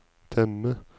temme